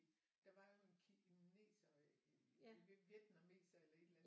Der var jo en kineser vietnameser eller et eller andet